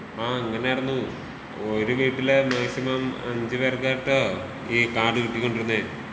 ആഹ് അങ്ങനെ ആയിരുന്നൂ.ഒരു വീട്ടിലേ മാക്സിമം അഞ്ച് പേർക്കാട്ടോ ഈ കാർഡ് കിട്ടി കൊണ്ടിരുന്നേ.